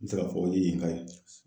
N bɛ se k'a fɔ o ye yen ka ye